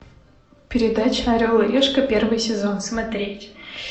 передача орел и решка первый сезон смотреть